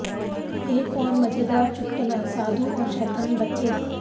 एक और मजेदार चुटकुलाः साधु और शैतान बच्चे